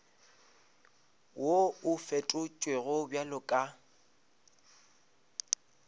wo o fetotšwego bjalo ka